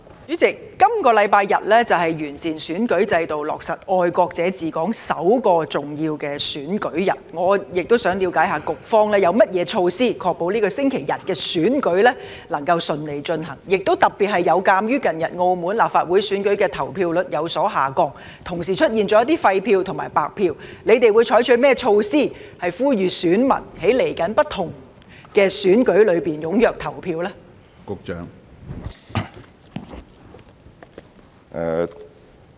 主席，本星期日是完善選舉制度、落實"愛國者治港"後的首個重要選舉日，我亦想了解局方有何措施確保本星期日的選舉能夠順利進行，特別有鑒於近日澳門立法會選舉的投票率有所下降，同時出現一些廢票和白票，他們會採取甚麼措施，呼籲選民在接下來的不同選舉中踴躍投票呢？